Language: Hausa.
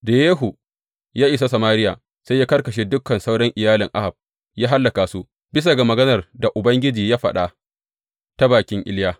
Da Yehu ya isa Samariya, sai ya karkashe dukan sauran iyalin Ahab, ya hallaka su, bisa ga maganar da Ubangiji ya faɗa ta bakin Iliya.